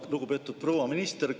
Lugupeetud proua minister!